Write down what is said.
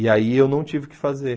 E aí eu não tive o que fazer.